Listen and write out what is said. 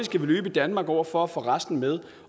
skal løbe i danmark over for at få resten med